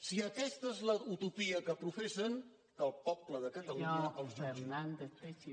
si aquesta és la utopia que professen que el poble de catalunya els jutgi